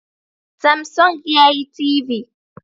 Samsung yayi TV